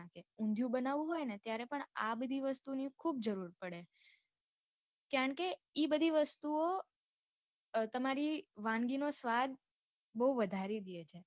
ઊંધ્યું બનવું હોય ત્યારે પણ આ બધી વસ્તુ ની ખૂબ જરૂર પડે છે કારણકે ઇ બધી વસ્તુઓ અ તમારી વાનગી નો સ્વાદ બવ વધારી દયે છે.